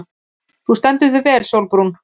Þú stendur þig vel, Sólbrún!